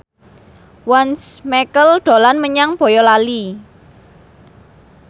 Once Mekel dolan menyang Boyolali